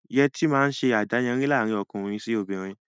Yẹtí máa ń ṣe adáyanri laarin ọkùnrin sì obìnrin